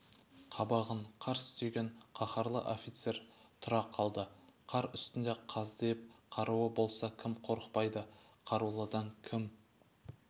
қабағын қарс түйген қаһарлы офицер тұра қалды қар үстінде қаздиып қаруы болса кім қорқытпайды қарулыдан кім